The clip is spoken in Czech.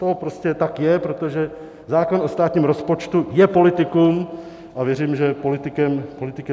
To prostě tak je, protože zákon o státním rozpočtu je politikum a věřím, že politikem zůstane.